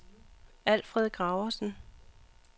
Alfred Graversen